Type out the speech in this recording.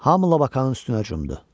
Hamı Labakanın üstünə cumdu.